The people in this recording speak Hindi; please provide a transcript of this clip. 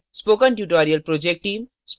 spoken tutorial project team